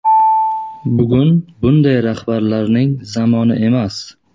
Bugun bunday rahbarlarning zamoni emas.